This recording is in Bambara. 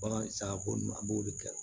Bagan sagako nunnu an b'o de kɛ